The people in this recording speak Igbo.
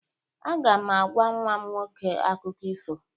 Aga m agwa nwa m nwoke akụkọ ifo.